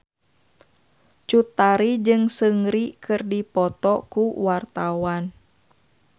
Cut Tari jeung Seungri keur dipoto ku wartawan